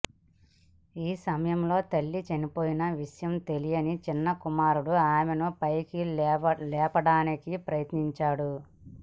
ఈ సమయంలో తల్లి చనిపోయిన విషయం తెలియని చిన్న కుమారుడు ఆమెను పైకి లేపడానికి ప్రయత్నించాడు